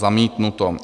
Zamítnuto.